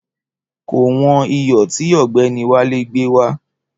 Kò wọn iyò tí ògbéni Wálé gbé wá